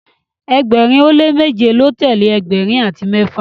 ẹgbẹrin o le meje lọ telee ẹgbẹrin ati mẹfa